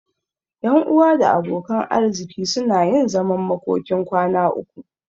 Ƴan uwa da abokan arziki suna yin zaman makokin kwana uku.